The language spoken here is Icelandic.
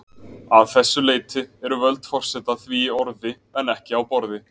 Að þessu leyti eru völd forseta því í orði en ekki á borði.